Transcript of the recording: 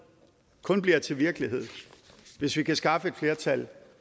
kun bliver til virkelighed hvis vi kan skaffe et flertal